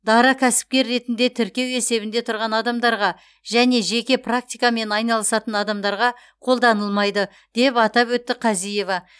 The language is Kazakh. дара кәсіпкер ретінде тіркеу есебінде тұрған адамдарға және жеке практикамен айналысатын адамдарға қолданылмайды деп атап өтті қазиева